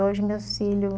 hoje meus filhos...